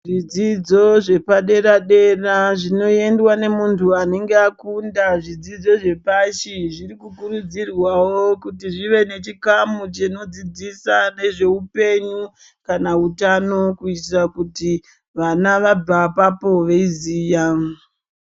Zvidzidzo zvepadera dera zvinoendwa nemuntu anenge akunda zvidzidzo zvepashi zvirikukurudzirwawo kuti zvive nechikamu chinodzidzisa nezveupenyu kana utano kuitira kuti vana vabva apapo veiziya.